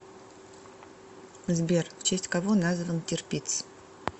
сбер в честь кого назван тирпиц